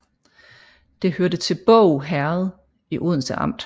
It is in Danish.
Det hørte til Båg Herred i Odense Amt